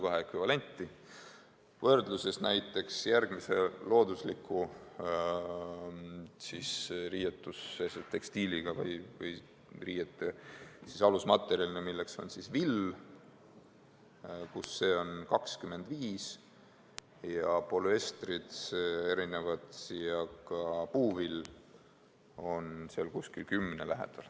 Kui võrrelda näiteks loodusliku riidematerjali villaga, siis on see näitaja 25, polüestritel ja ka puuvillal on see 10 lähedal.